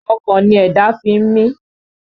Ọkàn ni ẹ̀dá fi ń mi